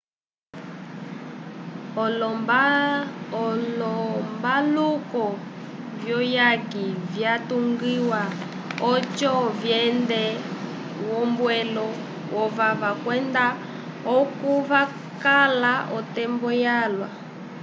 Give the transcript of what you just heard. olombaluku vyuyaki vyatungiwa oco vyende v'ombwelo yovava kwenda oko vakala otembo yalwa